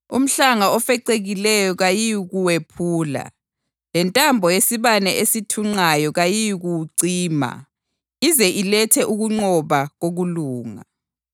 Umhlanga ofecekileyo kayiyikuwephula lentambo yesibane ethunqayo kayiyikuyicima, ize ilethe ukunqoba kokulunga.